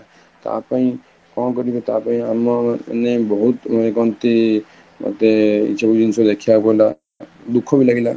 ତା ପାଇଁ କଣ କରିବେ ତାପାଇଁ ଆମ ମାନେ ବହୁତ କହନ୍ତି ମତେ ଏଇ ସବୁ ଜିନିଷ ଦେଖିବାକୁ ହେଲା ଦୁଃଖ ବି ଲାଗିଲା